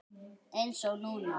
Eins og núna.